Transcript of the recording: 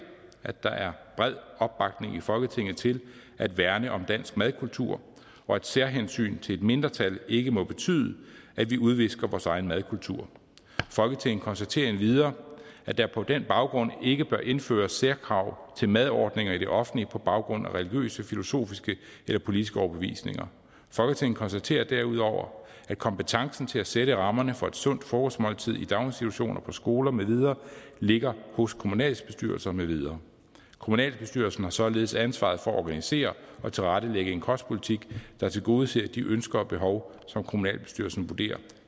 at der er bred opbakning i folketinget til at værne om dansk madkultur og at særhensyn til et mindretal ikke må betyde at vi udvisker vores egen madkultur folketinget konstaterer endvidere at der på den baggrund ikke bør indføres særkrav til madordninger i det offentlige på baggrund af religiøse filosofiske eller politiske overbevisninger folketinget konstaterer derudover at kompetencen til at sætte rammerne for et sundt frokostmåltid i daginstitutioner og skoler med videre ligger hos kommunalbestyrelsen med videre kommunalbestyrelsen har således ansvaret for at organisere og tilrettelægge en kostpolitik der tilgodeser de ønsker og behov som kommunalbestyrelsen vurderer